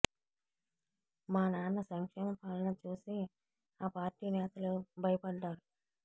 మా నాన్న సంక్షేమ పాలన చూసి ఆ పార్టీ నేతలు భయపడ్డారు